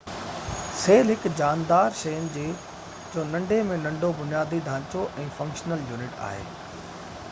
cell هڪ جاندار شين جو ننڍي ۾ ننڍو بنيادي ڍانچو ۽ فنڪشنل يونٽ آهي